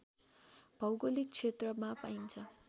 भौगोलिक क्षेत्रमा पाइन्छ